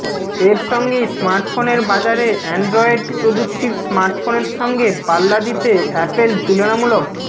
এর সঙ্গেই স্মার্ট ফোনের বাজারে অ্যানড্রইয়েড প্রযুক্তির স্মার্টফোনের সঙ্গে পাল্লা দিতে অ্যাপেল তুলনামূলক